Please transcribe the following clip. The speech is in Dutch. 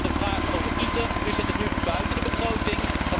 Ten slotte, de vraag over ITER, u zet het nu buiten de begroting.